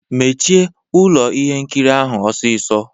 Mechie ụlọ ihe nkiri ahụ ọsịsọ!